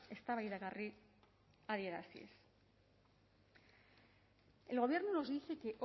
eztabaidagarri adieraziz el gobierno nos dice que